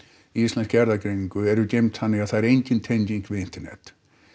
Íslensk erfðagreining eru geymd þannig að það er engin tenging við internet